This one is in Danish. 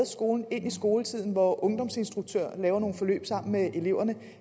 skolen ind i skoletiden hvor ungdomsinstruktører laver nogle forløb sammen med eleverne